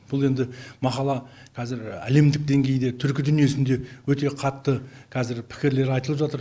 бұл енді мақала қазір әлемдік деңгейде түркі дүниесінде өте қатты қазір пікірлер айтылып жатыр